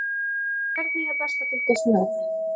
Hvernig er best að fylgjast með?